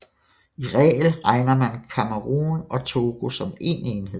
I regel regner man Kamerun og Togo som en enhed